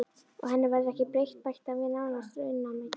Og henni verður ekki breytt, bætti hann við nánast raunamæddur.